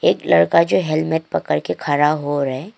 एक लड़का जो हेलमेट पकड़ के खड़ा हो रहा है।